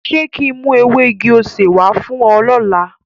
Ṣe kin mu ewe igi osé wa fun o lọla?